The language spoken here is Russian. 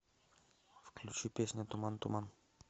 включи песня туман туман